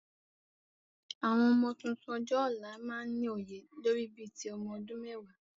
Àwọn ọmọ tuntun ọjọ́ ọ̀la máa ni òye lórí bí ti ọmọ ọdún mẹ́wàá